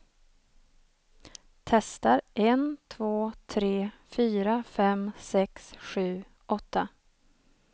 Testar en två tre fyra fem sex sju åtta.